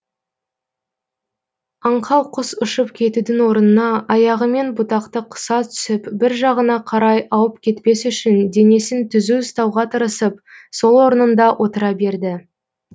аңқау құс ұшып кетудің орнына аяғымен бұтақты қыса түсіп бір жағына қарай ауып кетпес үшін денесін түзу ұстауға тырысып сол орнында отыра берді